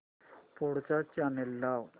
पुढचा चॅनल लाव